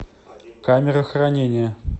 камера хранения